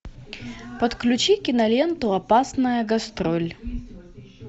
подключи киноленту опасная гастроль